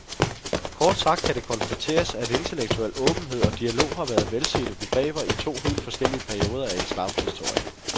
Kort sagt kan det konstateres, at intellektuel åbenhed og dialog har været velsete begreber i to helt forskellige perioder af islams historie.